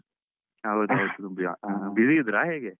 ಹೌದ್ ಹೌದು busy ಇದ್ರಾ ಹೇಗೆ?